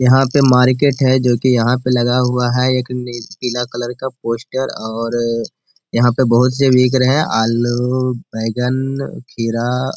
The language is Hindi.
यहाँ पे मार्केट है जो कि यहाँ पे लगा हुआ है एक नील पीला कलर का पोस्टर और यहाँ पे बोहुत से बिक रहे हैं आलू बैंगन खीरा --